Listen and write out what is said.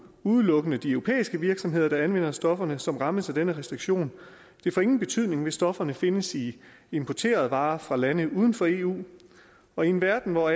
udelukkende de europæiske virksomheder der anvender stofferne som rammes af denne restriktion det får ingen betydning hvis stofferne findes i importerede varer fra lande uden for eu og i en verden hvor